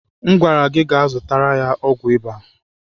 Mgwara gi gaa zụtara ya ọgwụ ịba!